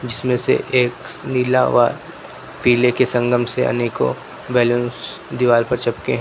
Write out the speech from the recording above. जिसमें से एक नीला व पीले के संगम से अनेको बैलूंस दीवार पर चपके है।